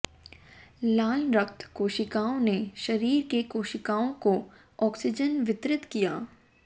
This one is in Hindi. लाल रक्त कोशिकाओं ने शरीर के कोशिकाओं को ऑक्सीजन वितरित किया